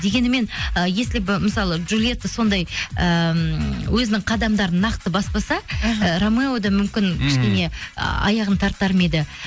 дегенімен ы если бы мысалы джулиетта сондай ыыы өзінің қадамдарын нақты баспаса іхі ы рамео да мүмкін кішкене аяғын тартар ма еді